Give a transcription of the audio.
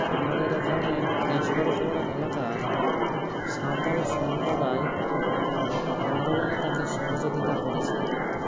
আমাদের এখানে cash করো ক্রো এলাকার সাঁওতাল সম্প্রদায় আন্দোলনে তাকে সহযোগিতা করেছিলেন